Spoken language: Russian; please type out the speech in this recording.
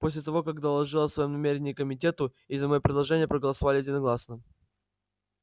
после того как доложил о своём намерении комитету и за моё предложение проголосовали единогласно